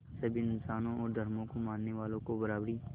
सभी इंसानों और धर्मों को मानने वालों को बराबरी